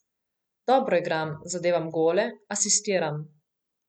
Dobro igram, zadevam gole, asistiram.